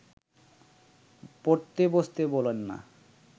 পড়তে বসতে বলেন না